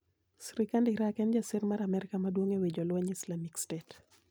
Sirkand Irak en ja sir mar Amerka maduong' e wi jolwenj Islamic State.